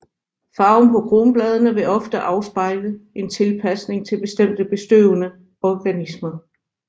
Farven på kronbladene vil ofte afspejle en tilpasning til bestemte bestøvende organismer